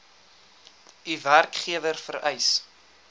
u werkgewer vereis